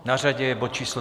Na řadě je bod číslo